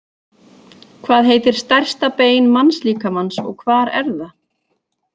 Hvað heitir stærsta bein mannslíkamans og hvar er það?